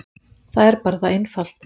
Það er bara það einfalt.